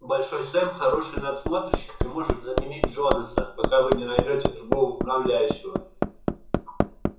большой сэм хороший надсмотрщик и может заменить джонаса пока вы не наймёте другого управляющего